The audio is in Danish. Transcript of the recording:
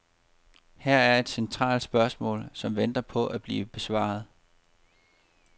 Her er et centralt spørgsmål, som venter på at blive besvaret.